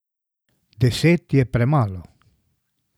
Deset je premalo.